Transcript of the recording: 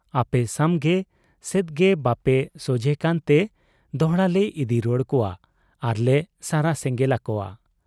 ᱟᱯᱮ ᱥᱟᱢᱜᱮ ᱥᱮᱫᱜᱮ ᱵᱟᱯᱮ ᱥᱚᱡᱷᱮᱜ ᱠᱟᱱᱛᱮ ᱫᱚᱦᱲᱟᱞᱮ ᱤᱫᱤ ᱨᱩᱣᱟᱹᱲ ᱠᱚᱣᱟ ᱟᱨᱞᱮ ᱥᱟᱨᱟ ᱥᱮᱸᱜᱮᱞ ᱟᱠᱚᱣᱟ ᱾